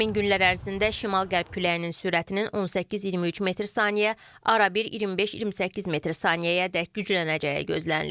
Həmin günlər ərzində şimal-qərb küləyinin sürətinin 18-23 metr/saniyə, arabir 25-28 metr/saniyəədək güclənəcəyi gözlənilir.